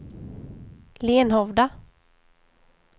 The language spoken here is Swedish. Lenhovda